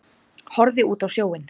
Horfði út á sjóinn.